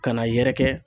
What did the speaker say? Ka n'a yɛrɛkɛ